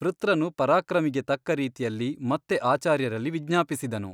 ವೃತ್ರನು ಪರಾಕ್ರಮಿಗೆ ತಕ್ಕ ರೀತಿಯಲ್ಲಿ ಮತ್ತೆ ಆಚಾರ್ಯರಲ್ಲಿ ವಿಜ್ಞಾಪಿಸಿದನು.